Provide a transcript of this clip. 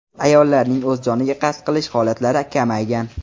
Ayollarning o‘z joniga qasd qilish holatlari kamaygan.